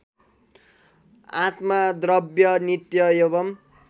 आत्मद्रव्य नित्य एवं